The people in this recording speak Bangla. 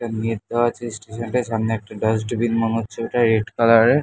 নেট দেওয়া আছে স্টেশন -টায় সামনে একটা ডাস্টবিন মনে হচ্ছে ওটা রেড কালার -এর--